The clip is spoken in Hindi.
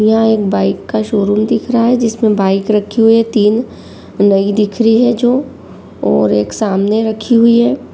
यह एक बाइक का शोरूम दिख रहा है जिसमे बाइक रखी हैं तीन नई दिख रही है जो और सामने रखी हुई है।